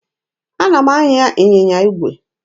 Ana m anya ịnyịnya igwe.